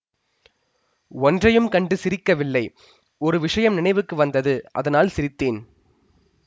ஒன்றையும் கண்டு சிரிக்கவில்லை ஒரு விஷயம் நினைவுக்கு வந்தது அதனால் சிரித்தேன்